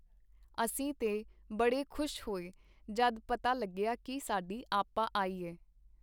ਅਸੀਂ ਤੇ ਬੜੇ ਖੁਸ਼ ਹੋਏ ਜਦ ਪਤਾ ਲੱਗਿਆ ਕੀ ਸਾਡੀ ਆਪਾ ਆਈ ਐ.